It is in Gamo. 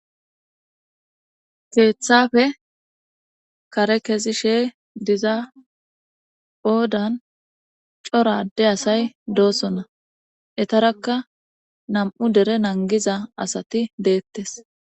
Keeththafe kare kezi she diza oodan cora adde asay doosona etarakka nam7u dere nangiza asati deettes